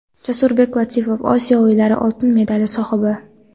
Jasurbek Latipov Osiyo o‘yinlari oltin medali sohibi!.